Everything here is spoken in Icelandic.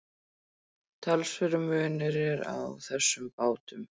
Talsverður munur er á þessum bátum.